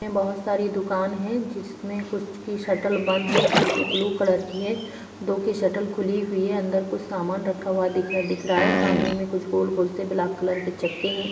यह बहोत सारी दुकान हैं जिसमें कुछ की शटर बंद हैं जो कि ब्लू कलर की हैं दो की शटर खुली हुई है अंदर कुछ सामान रखा हुआ दिख रहा है सामने में कुछ गोल-गोल सी ब्लैक कलर के चक्के है।